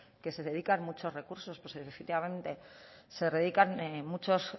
que se dedican muchos recursos pues efectivamente se dedican muchos